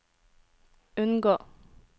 unngå